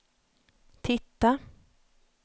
titta